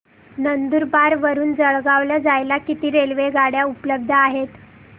नंदुरबार वरून जळगाव ला जायला किती रेलेवगाडया उपलब्ध आहेत